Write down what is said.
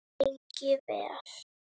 Lengi vel.